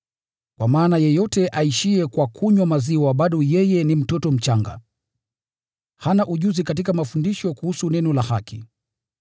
Kwa maana yeyote aishiye kwa kunywa maziwa bado yeye ni mtoto mchanga, hana ujuzi katika mafundisho kuhusu neno la haki.